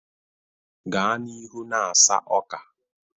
Gaa n'ihu na-asa ọka!